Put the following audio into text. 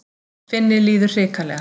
Finni líður hrikalega.